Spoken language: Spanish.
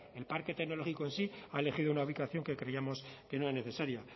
el parque tecnológico en sí ha elegido una ubicación que creíamos que no era necesaria